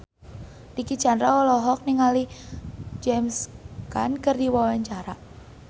Dicky Chandra olohok ningali James Caan keur diwawancara